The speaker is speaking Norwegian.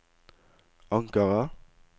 Ankara